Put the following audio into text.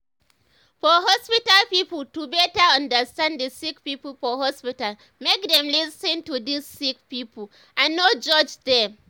for hospital pipo to better understand the sick pipo for hospital make dem dey lis ten to dis sick pipo and no judge dem.